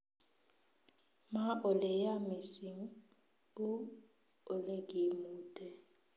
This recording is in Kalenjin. Ma ole yaa mising, uu olegimute